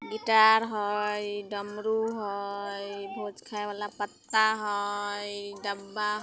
गिटार हई डमरू हई भोज खाए वाला पत्ता हई डब्बा --